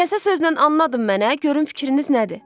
Kəsə sözlə anladın mənə, görüm fikriniz nədir?